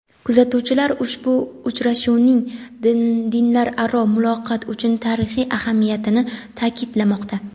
Kuzatuvchilar ushbu uchrashuvning dinlararo muloqot uchun tarixiy ahamiyatini ta’kidlamoqda.